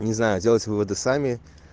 не знаю делайте выводы сами